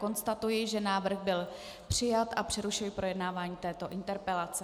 Konstatuji, že návrh byl přijat, a přerušuji projednávání této interpelace.